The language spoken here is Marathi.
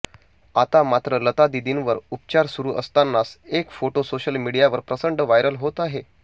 आता मात्र लता दीदींवर उपचार सुरु असतानाच एक फोटो सोशल मीडियावर प्रचंड व्हायरल होत आहे